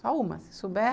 Só uma, se souber.